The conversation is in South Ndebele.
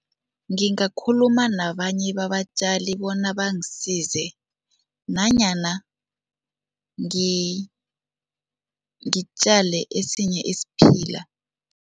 Ngingakhuluma nabanye babatjali bona bangasize nanyana ngitjale esinye isiphila.